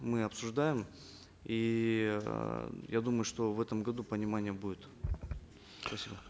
мы обсуждаем и э я думаю что в этом году понимание будет спасибо